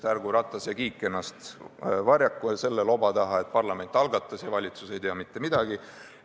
Ärgu Ratas ja Kiik varjaku ennast selle loba taha, et parlament algatas ja valitsus ei tea mitte midagi.